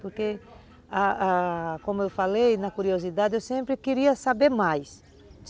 Porque, ah ah como eu falei, na curiosidade, eu sempre queria saber mais.